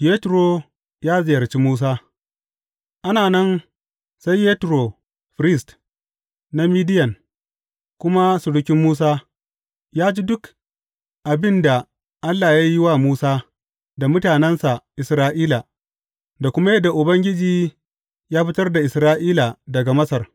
Yetro ya ziyarci Musa Ana nan sai Yetro firist na Midiyan, kuma surukin Musa, ya ji duk abin da Allah ya yi wa Musa da mutanensa Isra’ila, da kuma yadda Ubangiji ya fitar da Isra’ila daga Masar.